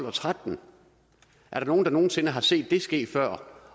og tretten er der nogen der nogen sinde har set det ske før